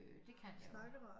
Øh det kan jeg jo